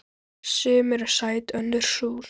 Sum eru sæt önnur súr.